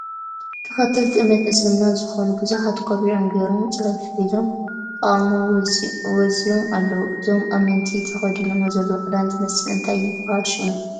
ተከተልቲ እምነት እስልምና ዝኮኑ ብዙሓት ቆቢዖም ጌሮም ፅሑፍ ሒዞም ተቃውሞ ወዚዮም ኣለዉ ። እዞም ኣመንቲ ተከዲኖሞ ዘለዉ ክዳን ዝመስል እንታይ ይበሃል ሽሙ ?